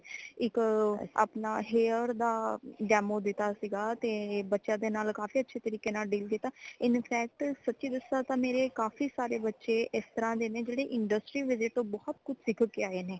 ਇੱਕ ਅਪਣਾ hair ਦਾ demo ਦਿਤਾ ਸੀਗਾ ਤੇ ਬੱਚਿਆਂ ਦੇ ਨਾਲ ਕਾਫੀ ਅੱਛੇ ਤਰੀਕੇ ਨਾਲ deal ਕੀਤਾ in fact ਸਚੀ ਦਸਾ ਤਾ ਮੇਰੇ ਕਾਫੀ ਸਾਰੇ ਬੱਚੇ ਇਸ ਤਰਾਂ ਦੇ ਨੇ ਜੇੜੇ industry visit ਤੋਂ ਬਹੁਤ ਕੁਛ ਸਿੱਖ ਕੇ ਆਏ ਨੇ